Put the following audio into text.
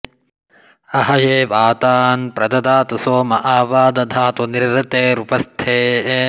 अह॑ये वा॒ तान्प्र॒ददा॑तु॒ सोम॒ आ वा॑ दधातु॒ निरृ॑तेरु॒पस्थे॑